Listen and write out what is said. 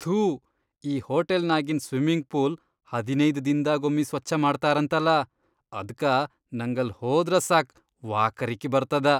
ಥೂ ಈ ಹೋಟೆಲ್ನಾಗಿನ್ ಸ್ವಿಮ್ಮಿಂಗ್ ಪೂಲ್ ಹದಿನೈದ್ ದಿನ್ದಾಗೊಮ್ಮಿ ಸ್ವಚ್ಛ ಮಾಡ್ತಾರಂತಲಾ ಅದ್ಕ ನಂಗಲ್ಲ್ ಹೋದ್ರ ಸಾಕ್ ವಾಕರಕಿ ಬರ್ತದ.